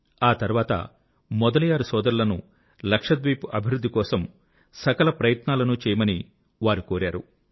ఆ తర్వాత మొదలియార్ సోదరులను లక్షద్వీప్ అభివృద్ధి కొరకు సకలప్రయత్నాలను చేయమని వారు కోరారు